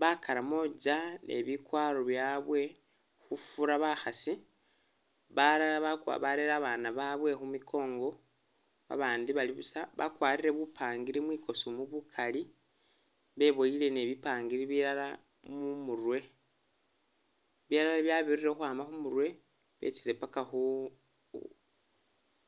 Bakaramoja ne bikwaro byabwe, khufura bakhasi balala ba barele babana babwe khumikongo babandi bali busa bakwarire bupangiri mwikoosi mu bukali, beboyeele ni bipangiri bilala mumurwe, bilala bya birire khukhwama khumurwe byetsile paka khu